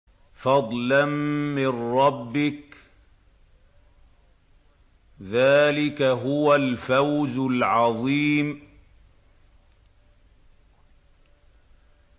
فَضْلًا مِّن رَّبِّكَ ۚ ذَٰلِكَ هُوَ الْفَوْزُ الْعَظِيمُ